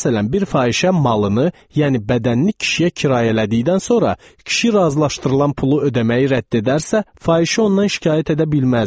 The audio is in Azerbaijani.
Məsələn, bir fahişə malını, yəni bədənini kişiyə kirayələdikdən sonra kişi razılaşdırılan pulu ödəməyi rədd edərsə, fahişə ondan şikayət edə bilməzdi.